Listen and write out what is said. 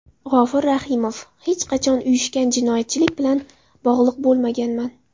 G‘ofur Rahimov: Hech qachon uyushgan jinoyatchilik bilan bog‘liq bo‘lmaganman.